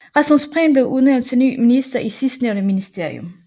Rasmus Prehn blev udnævnt til ny minister i sidstnævnte ministerium